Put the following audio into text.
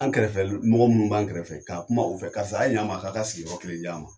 An kɛrɛfɛ mɔgɔ munnu b'an kɛrɛfɛ ,ka kuma u fɛ , karisa a'ye ɲɛ n ma a ka ka sigiyɔrɔ kelen d'an ma.